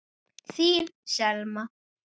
Þín Selma.